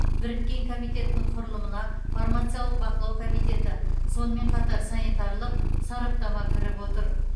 біріккен комитетінің құрылымына фармациялық бақылау комитеті сонымен қатар санитарлық сараптама кіріп отыр